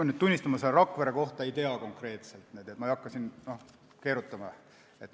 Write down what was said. Ma pean tunnistama, et seda Rakvere otsust ma konkreetselt ei tea, ma ei hakka siin keerutama.